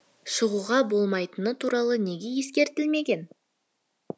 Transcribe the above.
шығуға болмайтыны туралы неге ескертілмеген